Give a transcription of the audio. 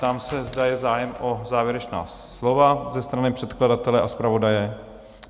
Ptám se, zda je zájem o závěrečná slova ze strany předkladatele a zpravodaje?